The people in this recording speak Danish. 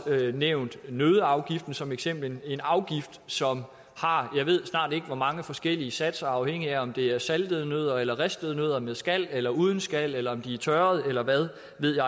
nævne nøddeafgiften som et eksempel en afgift som har jeg ved snart ikke hvor mange forskellige satser afhængigt af om det er saltede nødder ristede nødder med skal eller uden skal eller om de er tørrede eller hvad